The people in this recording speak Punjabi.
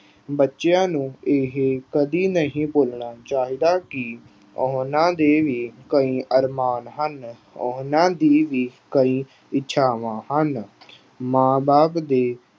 ਬੱਚਿਆਂ ਨੂੰ ਇਹ ਕਦੀ ਨਹੀਂ ਬੋਲਣਾ ਚਾਹੀਦਾ ਕਿ ਉਹਨਾਂ ਦੇ ਵੀ ਕਈ ਅਰਮਾਨ ਹਨ। ਉਹਨਾਂ ਦੀ ਵੀ ਕਈ ਇੱਛਾਵਾਂ ਹਨ। ਮਾਂ ਬਾਪ ਤੇ